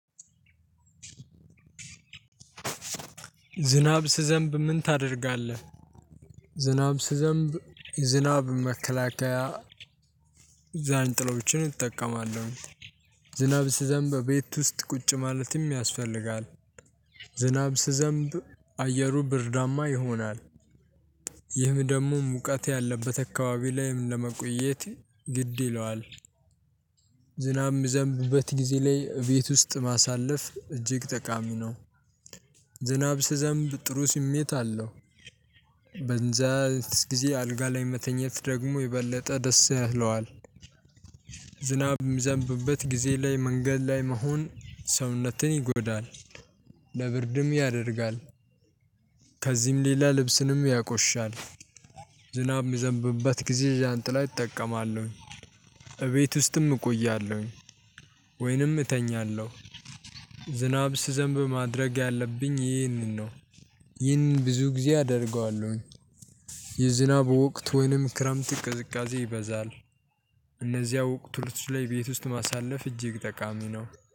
ዝናብ ሲዘንብ ምን ታደርጋለህ? ዝናብ ሲዘንብ ዝናብ መከላከያ ዣንጥላዎችን እጠቀማለሁ። ዝናብ ሲዘንብ በቤት ውስጥ ቁጭ ማለትም ያስፈልጋል። ዝናብ ሲዘንብ አየሩ ብርዳማ ይሆናል። ይህም ደግሞ ሙቀት ያለበት አካባቢ ላይም ለመቆየት ግድ ይለዋል። ዝናብ የሚዘንብበት ጊዜ ላይ ቤት ውስጥ ማሳለፍ እጅግ ጠቃሚ ነው። ዝናብ ሲዘንብ ጥሩ ስሜት አለው። በንዛ ጊዜ አልጋ ላይ መተኘት ደግሞ የበለጠ ደስ ያለዋል። ዝናብ የሚዘንብበት ጊዜ ላይ መንገድ ላይ መሆን ሰውነትን ይጎዳል። ለብርድም ያደርጋል። ከዚህም ሌላ ልብስንም ያቆሽሻል። ዝናብ የሚዘንብበት ጊዜ ዣንጥላ እጠቀማለሁ። እቤት ውስጥም እቆያለሁ። ወይንም እተኛለሁ። ዝናብ ሲዘንብ ማድረግ ያለብኝ ይህንን ነው። ይህን ብዙ ጊዜ አደርገዋለሁኝ። የዝናብ ወቅት ወይንም ክረምት ቅዝቃዜ ይበዛል። እነዚያ ወቅቶች ላይ ቤት ውስጥ ማሳለፍ እጅግ ጠቃሚ ነው